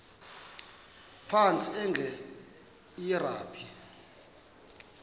phantsi enge lrabi